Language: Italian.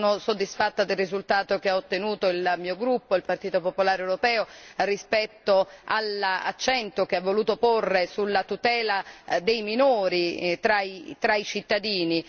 Sono soddisfatta del risultato che ha ottenuto il mio gruppo, il Partito popolare europeo, rispetto all'accento che ha voluto porre sulla tutela dei minori tra i cittadini.